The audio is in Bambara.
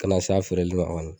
Kana na se a feereli ma kɔni